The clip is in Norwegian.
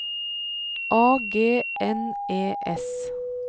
A G N E S